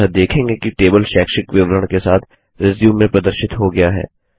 अतः देखेंगे कि टेबल शैक्षिक विवरण के साथ रिज्यूम में प्रदर्शित हो गया है